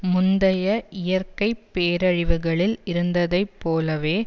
முந்தைய இயற்கை பேரழிவுகளில் இருந்ததைப் போலவே